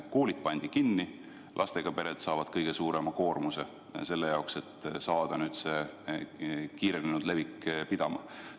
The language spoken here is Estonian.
Koolid pandi kinni, lastega pered saavad kõige suurema koormuse, et saada see kiirenenud levik pidama.